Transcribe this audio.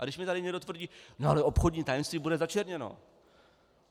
A když mi tady někdo tvrdí: No ale obchodní tajemství bude začerněno.